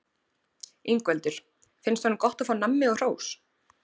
Ingveldur: Finnst honum gott að fá nammi og hrós?